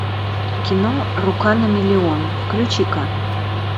кино рука на миллион включи ка